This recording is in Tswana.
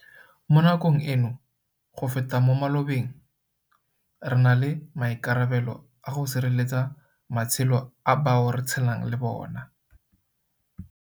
Mo nakong eno, go feta mo malobeng, re na le maikarabelo a go sireletsa matshelo a bao re tshelang le bona.